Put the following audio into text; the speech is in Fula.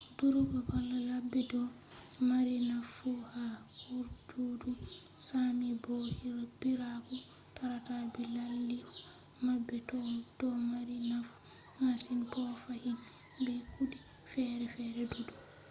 durugo bala ladde do mari nafu ha guurdudum sámi bo biiraku tarata dilaaliiku mabbe do mari nafu masin bo fahin be kude fere-fere duddum